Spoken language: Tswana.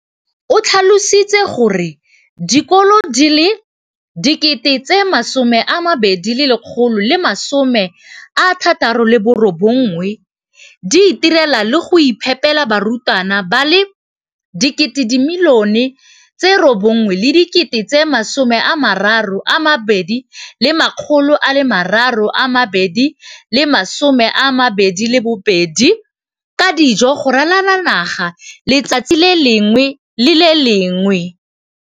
o tlhalositse gore dikolo di le 20 619 di itirela le go iphepela barutwana ba le 9 032 622 ka dijo go ralala naga letsatsi le lengwe le le lengwe.